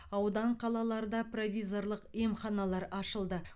аудан қалаларда провизорлық емханалар ашылды